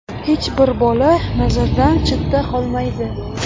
Hech bir bola nazardan chetda qolmaydi.